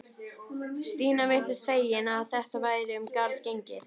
Stína virtist fegin að þetta væri um garð gengið.